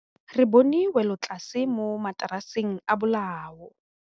Re bone wêlôtlasê mo mataraseng a bolaô.